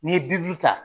N'i ye bi duuru ta